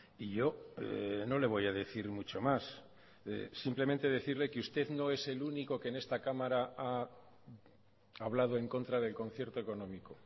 y yo no le voy a decir mucho más simplemente decirle que usted no es el único que en esta cámara ha hablado en contra del concierto económico